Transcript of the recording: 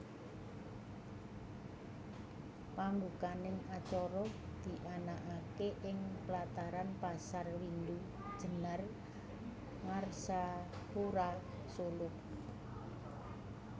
Pambukaning acara dianakake ing plataran Pasar Windu Jenar Ngarsapura Solo